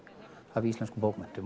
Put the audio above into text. af íslenskum bókmenntum